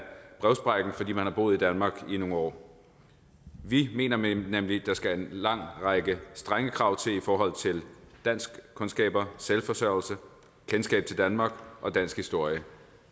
brevsprækken fordi man har boet i danmark i nogle år vi mener nemlig der skal en lang række strenge krav til i forhold til danskkundskaber selvforsørgelse kendskab til danmark og dansk historie